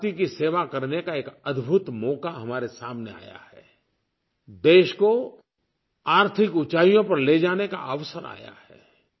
माँ भारती की सेवा करने का एक अद्भुत मौका हमारे सामने आया है देश को आर्थिक ऊंचाइयों पर ले जाने का अवसर आया है